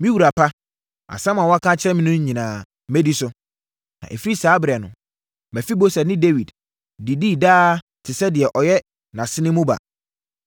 “Me wura pa, asɛm a woaka akyerɛ me no nyinaa, mɛdi so.” Na ɛfiri saa ɛberɛ no, Mefiboset ne Dawid didii daa te sɛ deɛ ɔyɛ nʼasene mu ba.